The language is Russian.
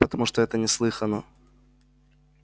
потому что это неслыханно